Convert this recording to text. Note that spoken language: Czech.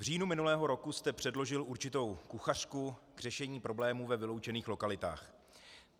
V říjnu minulého roku jste předložil určitou kuchařku k řešení problémů ve vyloučených lokalitách.